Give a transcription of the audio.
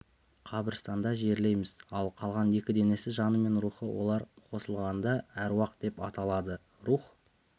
қабірстанда жерлейміз ал қалған екі денесі жаны мен рухы олар қосылғанда әруақ деп аталады рух